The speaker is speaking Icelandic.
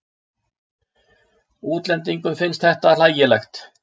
Útlendingum finnst þetta hlægilegt.